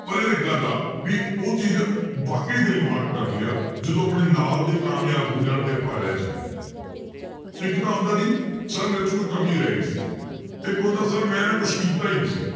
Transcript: ਪਰ ਯਾਰ ਇੱਕ ਗੱਲ ਆ ਵੀ ਉਹ ਚੀਜ਼ ਵਾਕਈ ਦਿਲ ਨੂੰ heart ਕਰਦੀ ਆ, ਜਦੋਂ ਆਪਣੇ ਨਾਲ ਦੇ ਕਾਮਯਾਬ ਹੋ ਜਾਣ ਤੇ ਆਪਾਂ ਰਹਿ ਜਾਈਏ ਇੱਕ ਤਾਂ ਹੁੰਦਾ ਜੀ sir ਮੇਰੇ 'ਚ ਕੋਈ ਕਮੀ ਰਹਿ ਗਈ ਸੀ ਇੱਕ ਹੁੰਦਾ sir ਮੈਂ ਨਾ ਕੁਛ ਕੀਤਾ ਹੀ ਨੀ ਸੀ